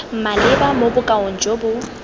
maleba mo bokaong jo bo